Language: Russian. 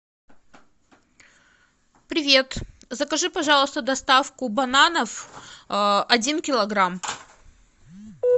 привет закажи пожалуйста доставку бананов один килограмм